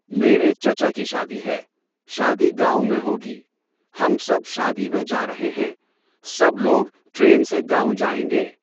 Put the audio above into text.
میرے چچا کی شادی ہے۔ شادی گاؤں میں ہوگی۔ ہم سب شادی میں جا رہے ہیں۔ سب لوگ ٹرین سے گاؤں جائيں گے۔